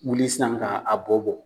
Wuli sisan ka a bɔ bɔ..